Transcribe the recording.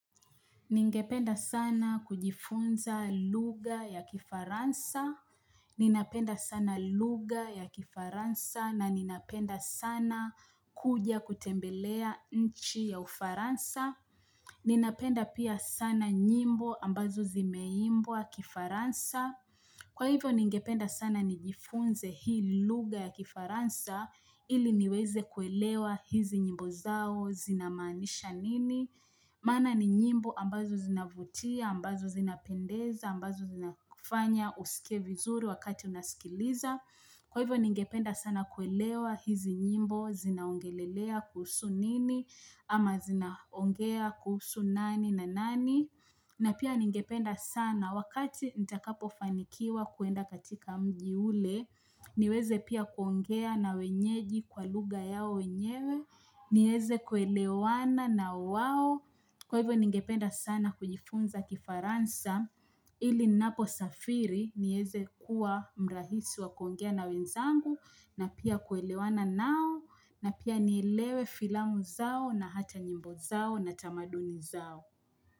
Ningependa sana kujifunza lugha ya kifaransa. Ninapenda sana lugha ya kifaransa na ninapenda sana kuja kutembelea nchi ya ufaransa. Ninapenda pia sana nyimbo ambazo zimeimbwa kifaransa. Kwa hivyo ningependa sana nijifunze hii lugha ya kifaransa ili niweze kuelewa hizi nyimbo zao zinamaanisha nini. Maana ni nyimbo ambazo zinavutia, ambazo zinapendeza, ambazo zinafanya usikie vizuri wakati unaskiliza. Kwa hivyo ningependa sana kuelewa hizi nyimbo zinaongelelea kuhusu nini ama zinaongea kuhusu nani na nani. Na pia ningependa sana wakati nitakapo fanikiwa kuenda katika mji ule niweze pia kuongea na wenyeji kwa lugha yao wenyewe nieze kuelewana na wao kwa hivyo ningependa sana kujifunza kifaransa ili ninapo safiri nieze kuwa mrahisi wa kuongea na wenzangu na pia kuelewana nao na pia nielewe filamu zao na hata nyimbo zao na tamaduni zao.